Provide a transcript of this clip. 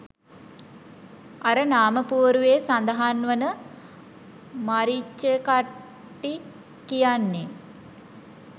අර නාමපුවරුවේ සදහන් වන මරිච්චකට්ටි කියන්නේ